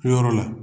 Kɛyɔrɔ la